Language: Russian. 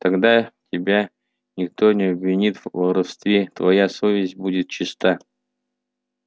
тогда тебя никто не обвинит в воровстве твоя совесть будет чиста